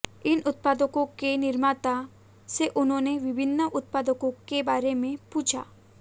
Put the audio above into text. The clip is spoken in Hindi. इन उत्पादों के निर्माता से उन्होंने विभिन्न उत्पादों के बारे में पूछा